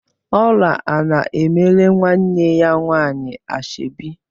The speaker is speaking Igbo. Ọla ana-emere nwanne ya nwaanyị ashọbi?